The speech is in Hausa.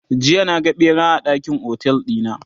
jiya na ga ɓera a ɗakin otel ɗina